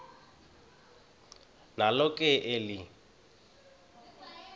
nalo ke eli